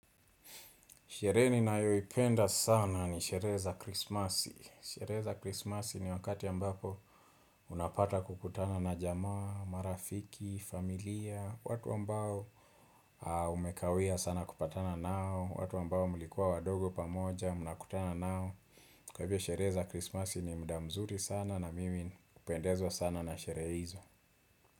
Sherehe ninayoipenda sana ni sherehe za krismasi. Sherehe za krisimasi ni wakati ambapo unapata kukutana na jamaa, marafiki, familia, watu ambao umekawia sana kupatana nao, watu ambao mulikuwa wadogo pamoja, mnakutana nao. Kwa hivyo sherehe za krisimasi ni muda mzuri sana na mimi hupendezwa sana na sherehe hizo.